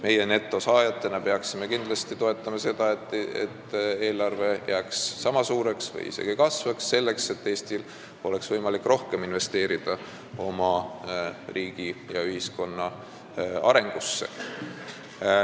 Meie netosaajana peaksime kindlasti toetama seda, et eelarve jääks sama suureks või isegi kasvaks, selleks et Eestil oleks võimalik rohkem investeerida oma riigi ja ühiskonna arengusse.